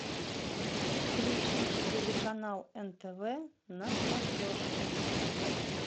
включи телеканал нтв на смотрешке